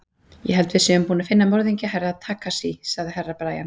Ég held að við séum búin að finna morðingju Herra Takashi, sagði Herra Brian.